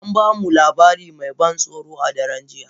An ba mu labari mai ban tsoro a daren jiya.